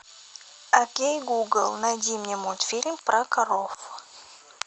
окей гугл найди мне мультфильм про коров